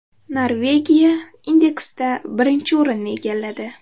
Norvegiya indeksda birinchi o‘rinni egalladi.